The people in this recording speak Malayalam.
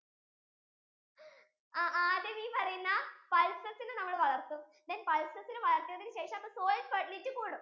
ആ ആദ്യം ഈ പറയുന്ന pulses ഇനി നമ്മൾ വളർത്തും then pulses ഇനി വളർത്തിയതിനു ശേഷം soil fertility കൂടും